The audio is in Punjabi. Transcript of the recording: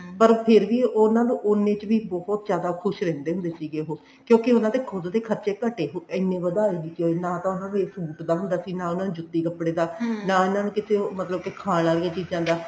ਪਰ ਫੇਰ ਵੀ ਉਹਨਾ ਨੂੰ ਉੰਨੇ ਚ ਹੀ ਬਹੁਤ ਜਿਆਦਾ ਖੁਸ਼ ਰਹਿੰਦੇ ਹੁੰਦੇ ਸੀ ਉਹ ਕਿਉਂਕਿ ਉਹਨਾ ਦੇ ਖੁਦ ਦੇ ਖਰਚੇ ਘਟੇ ਇੰਨੇ ਵਧਾ ਲਏ ਨਾ ਤਾਂ ਉਹਨਾ ਨੂੰ ਸੂਟ ਦਾ ਹੁੰਦਾ ਸੀ ਨਾ ਜੁੱਤੀ ਕੱਪੜੇ ਦਾ ਨਾ ਉਹਨਾ ਨੂੰ ਮਤਲਬ ਕਿ ਕਿਸੇ ਖਾਨ ਵਾਲੀਆਂ ਚੀਜ਼ਾਂ ਦਾ